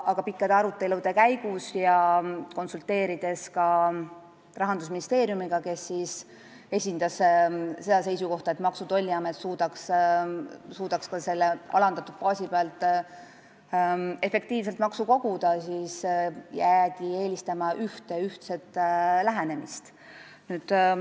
Aga pikkade arutelude järel, konsulteerides ka Rahandusministeeriumiga, kes esindas seda seisukohta, et Maksu- ja Tolliamet peaks suutma selle alandatud baasi pealt ka efektiivselt maksu koguda, jäädi siiski ühtse lähenemise eelistuse juurde.